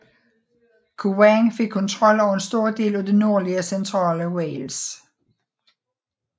Owain fik kontrol over en stor del af det nordlige og centrale Wales